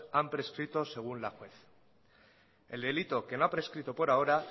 han prescrito según la juez el delito que no ha prescrito por ahora